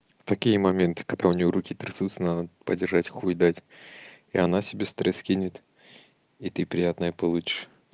такие моменты когда у него руки трясутся на подержать хуй дать и она себе стресс скинет и ты приятное получишь